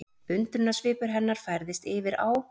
Undrunarsvipur hennar færðist yfir á